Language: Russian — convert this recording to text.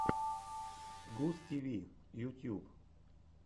густиви ютьюб